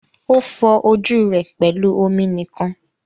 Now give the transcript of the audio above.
O fọ ojú rẹ pẹlú omi nìkan.